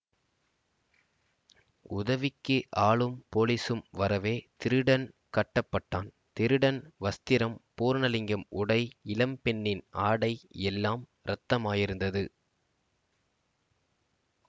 உதவிக்கு ஆளும் போலீசும் வரவே திருடன் கட்டப்பட்டான் திருடன் வஸ்திரம் பூரணலிங்கம் உடை இளம்பெண்ணின் ஆடை எல்லாம் இரத்தமாயிருந்தது